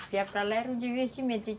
para lá era um divertimento.